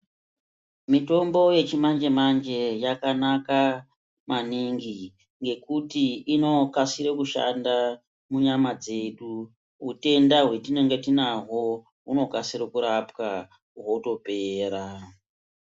Mitombo yechimanje-manje yakanaka maningi ngekuti inokasiro kushanda munyama dzedu. Utenda hwetinenge tinahwo hunokasire kurapwa hwotopera.